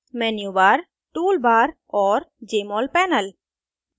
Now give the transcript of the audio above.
menu bar tool bar और jmol panel